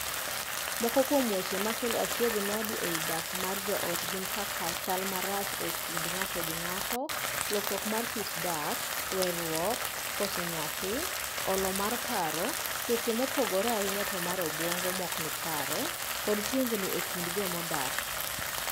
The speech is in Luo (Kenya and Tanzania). Moko kuom weche makelo achiedhnade ei dak mar joot gin kaka chal marach e kind ng'ato gi ng'ato, lokruok mar kit dak, weeruok, koso nyathi, olo mar paro, tuoche mopogore ahinya to mar obuongo ma ok ni kare, kod tungni e kind joma odak.